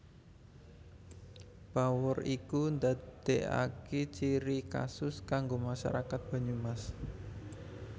Bawor iku ndadekaki ciri kusus kanggo masyarakat Banyumas